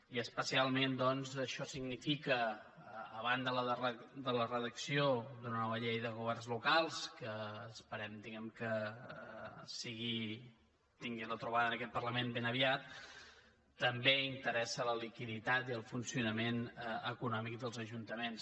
i especialment doncs això significa a banda de la redacció d’una nova llei de governs lo·cals que esperem diguem·ne que tingui la trobada en aquest parlament ben aviat que també interessen la liquiditat i el funcionament econòmic dels ajunta·ments